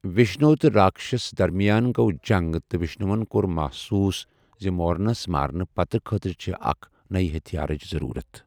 وشنو تہٕ راکشسَس درمیان گوٚو جنگ تہٕ وشنوَن کوٚر محسوس زِ مورنَس مارنہٕ پتہٕ خٲطرٕ چھِ أکہِ نَیہِ ہتھیارٕچ ضروٗرت۔